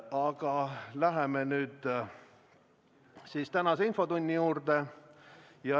Aga läheme nüüd siis tänase infotunni juurde.